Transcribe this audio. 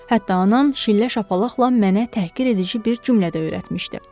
Hətta anam şillə şapalaqla mənə təhqir edici bir cümlə də öyrətmişdi.